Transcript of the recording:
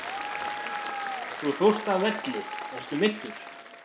Þú fórst af velli, ertu meiddur?